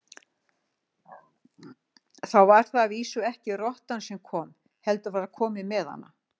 Þá var það að vísu ekki rottan sem kom, heldur var komið með hana.